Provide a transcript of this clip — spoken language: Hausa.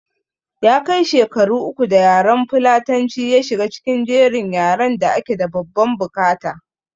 Ya kai shekaru uku da yaran fulatanci ya shiga cikin jerin yaran da ake da babban bukata